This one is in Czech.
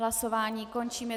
Hlasování končím.